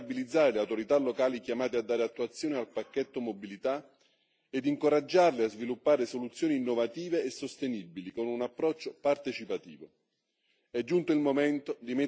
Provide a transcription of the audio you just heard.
È fondamentale responsabilizzare le autorità locali chiamate a dare attuazione al pacchetto mobilità ed incoraggiarle a sviluppare soluzioni innovative e sostenibili con un approccio partecipativo.